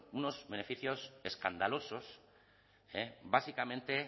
unos beneficios escandalosos básicamente